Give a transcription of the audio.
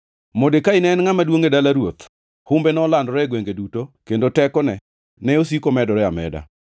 Modekai ne en ngʼama duongʼ e dala ruoth; humbe nolandore e gwenge duto kendo tekone ne osiko medore ameda.